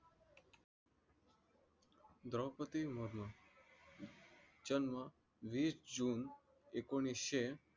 द्रौपदी मुर्मू जन्म वीस जून एकोणीशे